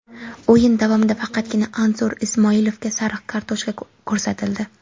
O‘yin davomida faqatgina Anzur Ismoilovga sariq kartochka ko‘rsatildi.